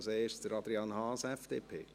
Als erster spricht Adrian Haas, FDP.